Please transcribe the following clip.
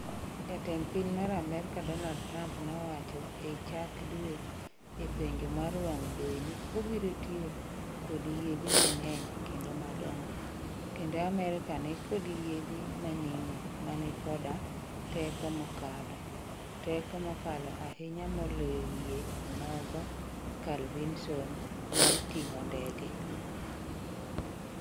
Jatend piny mar Amerika Donald Trump nowacho ee chak dweni ee penjo mar wang' jowi ni obirotiyo kod "yiedhi mangeny kendo madongo" kendo Amerika ni kod yiedhi manimo mani koda "teko mokalo, teko mokalo ahinya moloyo yie o nogo (Carl Vinson) mar ting'o ndege".